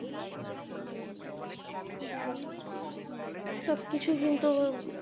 সবকিছু কিন্তু